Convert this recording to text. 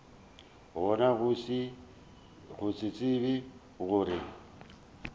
gona go se tsebe gore